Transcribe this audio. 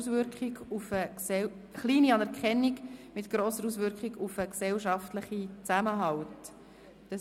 «Kleine Anerkennung mit grosser Auswirkung auf den gesellschaftlichen Zusammenhalt».